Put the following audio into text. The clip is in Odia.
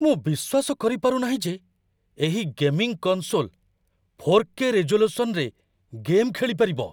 ମୁଁ ବିଶ୍ୱାସ କରିପାରୁ ନାହିଁ ଯେ ଏହି ଗେମିଂ କନ୍‌‌ସୋଲ୍‌ 4କେ ରିଜୋଲ୍ୟୁସନ୍‌‌ରେ ଗେମ୍‌ ଖେଳିପାରିବ!